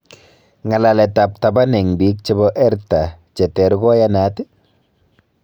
Ng'alalet ab taban eng biik chebo erta che ter koyanat?